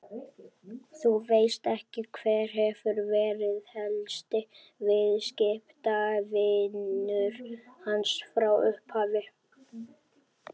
Þú veist ekki, hver hefur verið helsti viðskiptavinur hans frá upphafi?